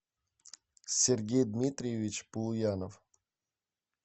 сергей дмитриевич полуянов